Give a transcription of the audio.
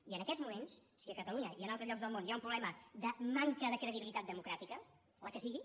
i en aquests moments si a catalunya i en altres llocs del món hi ha un problema de manca de credibilitat democràtica la que sigui